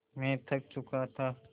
मैं थक चुका था